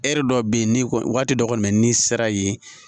E yɛrɛ dɔ bɛ yen ni waati dɔ kɔni bɛ n'i sera ye